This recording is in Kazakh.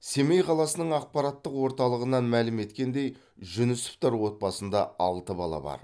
семей қаласының ақпараттық орталығынан мәлім еткендей жүнісовтар отбасында алты бала бар